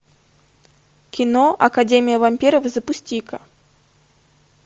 кино академия вампиров запусти ка